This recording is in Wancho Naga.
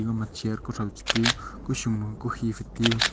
aga ma chair kuthow chi tai u kusun ma kukhe phai teu.